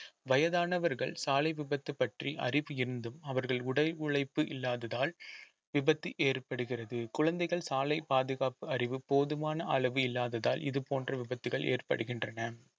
வயதானவர்கள் சாலை விபத்து பற்றி அறிவு இருந்தும் அவர்கள் உழைப்பு இல்லாததால் விபத்து ஏற்படுகிறது குழந்தைகள் சாலை பாதுகாப்பு அறிவு போதுமான அளவு இல்லாததால் இது போன்ற விபத்துகள் ஏற்படுகின்றன